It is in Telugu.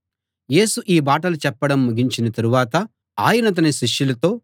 యేసు ఈ మాటలు చెప్పడం ముగించిన తరువాత ఆయన తన శిష్యులతో